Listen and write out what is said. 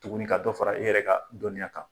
Tuguni ka dɔ fara e yɛrɛ ka dɔnniya kan.